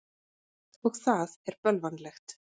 Og það er bölvanlegt.